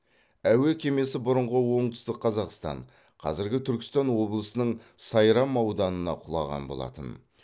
әуе кемесі бұрынғы оңтүстік қазақстан қазіргі түркістан облысының сайрам ауданына құлаған болатын